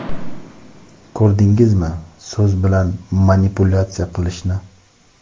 Ko‘rdingizmi so‘z bilan manipulyatsiya qilishni?.